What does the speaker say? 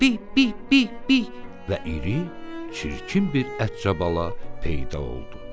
Bi, bi, bi, bi və iri çirkin bir ətcabala peyda oldu.